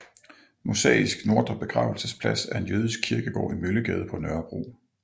Mosaisk Nordre Begravelsesplads er en jødisk kirkegård i Møllegade på Nørrebro